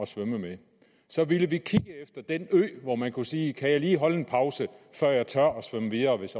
svømme med så ville vi kigge efter den ø hvor man kunne sige kan jeg lige holde en pause før jeg tør svømme videre hvis